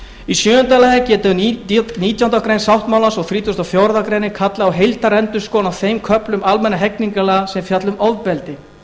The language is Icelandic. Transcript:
í sjöunda lagi getur nítjánda grein sáttmálans og þrítugasta og fjórðu grein kallað á heildarendurskoðun á þeim köflum almennra hegningarlaga sem fjalla um ofbeldi má